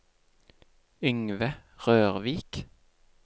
Yngve Rørvik